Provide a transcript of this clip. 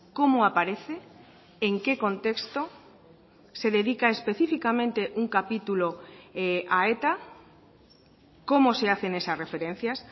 cómo aparece en qué contexto se dedica específicamente un capitulo a eta cómo se hacen esas referencias